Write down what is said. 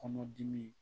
Kɔnɔdimi